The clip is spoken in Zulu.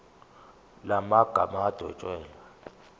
la magama adwetshelwe